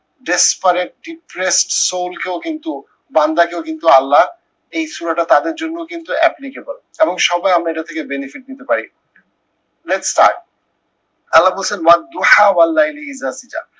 desperate depressed soul কেও কিন্তু বান্দাকেও কিন্তু আল্লাহ এই তাদের জন্যও কিন্তু applicable এবং সবাই আমরা এটার থেকে benefit নিতে পারি। lets start